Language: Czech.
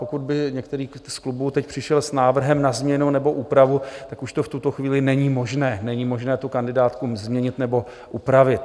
Pokud by některý z klubů teď přišel s návrhem na změnu nebo úpravu, tak už to v tuto chvíli není možné, není možné tu kandidátku změnit nebo upravit.